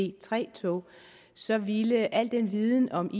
ic3 tog så ville al den viden om